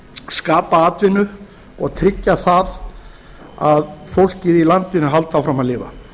skapa atvinnu og tryggja að fólkið í landinu haldi áfram að lifa